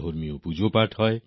ধার্মিক পূজার্চনা হয়